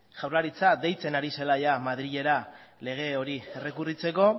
jaurlaritza deitzen ari zela ia madrilera lege hori errekurritzeko